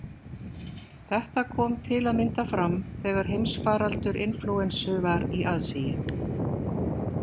Þetta kom til að mynda fram þegar heimsfaraldur inflúensu var í aðsigi.